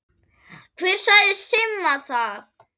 Hver sagði Simma það?